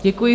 Děkuji.